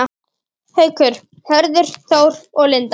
Haukur, Hörður Þór og Linda.